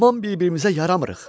Tamam bir-birimizə yaramırıq.